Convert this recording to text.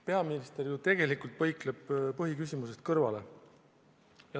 Peaminister ju tegelikult põikleb põhiküsimusest kõrvale.